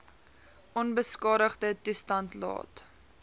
onbeskadigde toestand laat